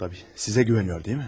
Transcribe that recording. Əlbəttə, sizə güvənir, deyilmi?